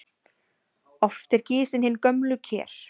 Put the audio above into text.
Oft eru gisin hin gömlu ker.